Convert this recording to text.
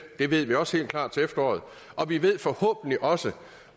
det ved vi også helt klart til efteråret og vi ved forhåbentlig også